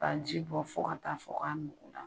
K'a ji bɔ fo ka taa fɔ k'a nugu la.